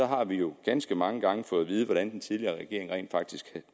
har jo ganske mange gange fået at vide hvordan den tidligere regering rent faktisk